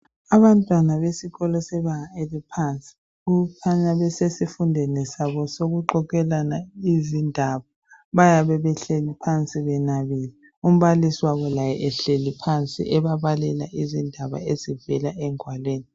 Abantwana besikolo sebanga eliphansi okukhanya besesifundweni sabo sokuxoxelana izindaba. Bayabe behlezi phansi benabile, umbalisi wabo laye ehlezi phansi ebabalela izindaba ezivela engwalweni.